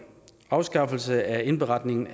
afskaffelse af indberetningen